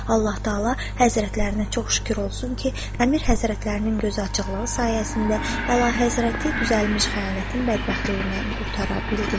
Allah-taala Həzrətlərinə çox şükür olsun ki, əmir Həzrətlərinin gözüaçıqlığı sayəsində Əlahəzrəti düzəlmiş xəyanətin bədbəxtliyindən qurtara bildik.